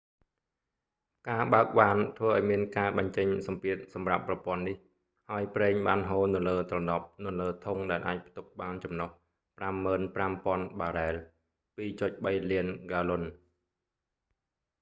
ការបើកវ៉ានធ្វើឱ្យមានការបញ្ចេញសម្ពាធសម្រាប់ប្រព័ន្ធនេះ ហើយប្រេងបានហូរនៅលើទ្រនាប់នៅលើធុងដែលអាចផ្ទុកបានចំណុះ 55,000 បារ៉ែល 2.3 លានហ្គាឡុន